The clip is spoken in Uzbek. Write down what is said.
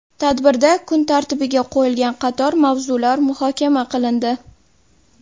Tadbirda kun tartibiga qo‘yilgan qator mavzular muhokama qilindi.